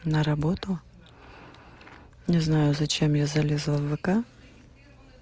на работу не знаю зачем я залезла в вк